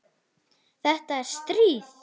Þetta er stríð!